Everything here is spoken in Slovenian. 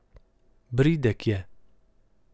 Bridek je.